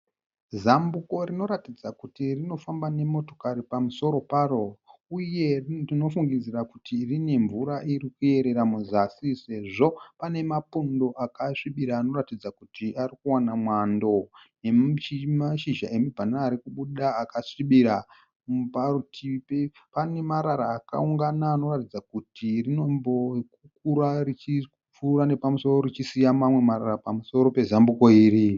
Zambuko rinoratidza kuti rinofamba nemotokari pamusoro paro, uye ndinofungidzira kuti rine mvura iri kuyerera muzasi sezvo pane mapundo akasvibira anoratidza kuti ari kuwana mwando, nemashizha emubhanana ari kubuda akasvibira parutivi pane marara akaungana anoratidza kuti rinombokura richipfuura nepamusoro richisiya mamwe marara pamusoro pezambuko iri.